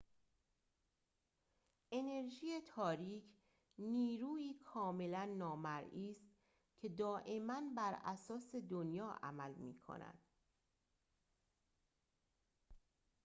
انرژی تاریک نیرویی کاملاً نامرئی است که دائماً براساس دنیا عمل می‌کند